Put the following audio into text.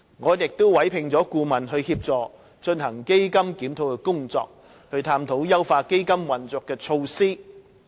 我們已委聘顧問協助進行檢討基金的工作，探討優化基金運作的措施。